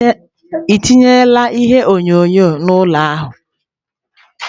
Ị tinyela ihe onyonyo n'ime ụlọ ahụ?